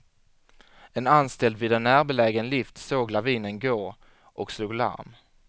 En anställd vid en närbelägen lift såg lavinen gå och slog larm.